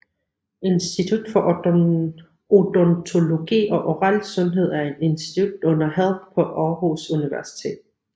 Institut for Odontologi og Oral Sundhed er et institut under Health på Aarhus Universitet